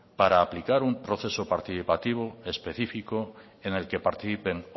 para aplicar un proceso participativo y específico en el que participen